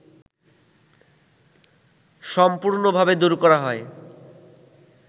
সম্পূর্ণভাবে দূর করা হয়